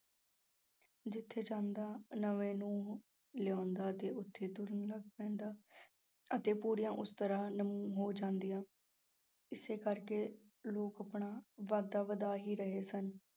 ਜਿੱਥੇ ਜਾਂਦਾ ਲਿਆਂਉਦਾ 'ਤੇ ਉੱਥੇ ਤੁਰਨ ਲੱਗ ਪੈਦਾਂ ਅਤੇ ਪੂਰੀਆਂ ਉਸ ਤਰ੍ਹਾਂ ਹੋ ਜਾਂਦੀਆਂ ਇਸੇ ਕਰਕੇ ਲੋਕ ਆਪਣਾ ਵਾਧਾ ਵਧਾ ਹੀ ਰਹੇ ਸਨ।